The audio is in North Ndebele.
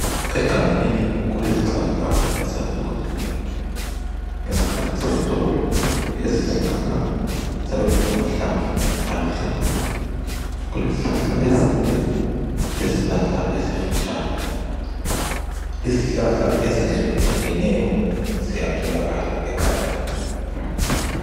Egangeni kulezihlahla ezahlukehlukeneyo ngesikhathi sehlobo kulezihlahla ziyabe zilamahlamvu, aluhlaza kulezihlahla ezinde, kulezi hlahla ezifitshane, izihlahla ezahlukehlukeneyo ziyatholakala egangeni.